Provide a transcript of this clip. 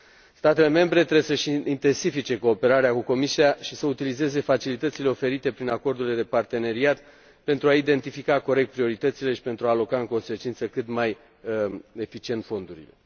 Statele membre trebuie să își intensifice cooperarea cu Comisia și să utilizeze facilitățile oferite prin acordurile de parteneriat, pentru a identifica corect prioritățile și pentru a aloca, în consecință, cât mai eficient fondurile.